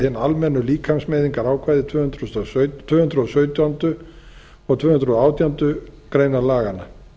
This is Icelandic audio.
hin almennu líkamsmeiðingarákvæði tvö hundruð og sautjándu og tvö hundruð og átjándu grein laganna